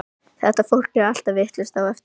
Þetta fólk er allt vitlaust á eftir mér.